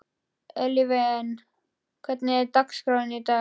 Evelyn, hvernig er dagskráin í dag?